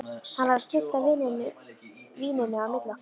Hann var að skipta víninu á milli okkar!